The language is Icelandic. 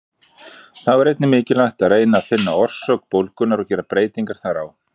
Þá er einnig mikilvægt að reyna að finna orsök bólgunnar og gera breytingar þar á.